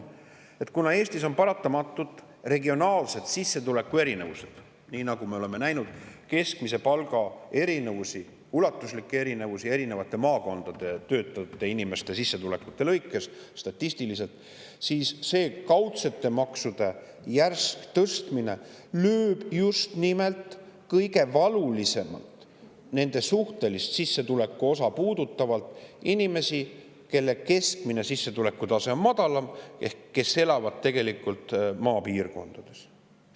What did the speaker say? Kuna Eestis on paratamatult regionaalsed sissetulekuerinevused, nii nagu me oleme näinud keskmise palga erinevusi erinevates maakondades töötavate inimeste sissetulekute lõikes statistiliselt, siis see kaudsete maksude järsk tõstmine lööb just nimelt kõige valulisemalt, nende suhtelist sissetulekuosa puudutavalt, inimesi, kelle sissetuleku keskmine tase on madalam ehk kes elavad maapiirkondades.